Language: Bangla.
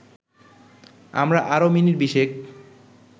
আমরা আরও মিনিট বিশেক